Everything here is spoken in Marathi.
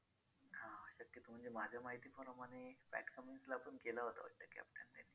म्हणजे माझ्या माहितीप्रमाणे pat cummins ला पण केलं होतं वाटतं captain त्यांनी